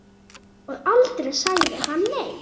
Og aldrei sagði hann nei.